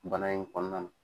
Bana in kɔnɔna.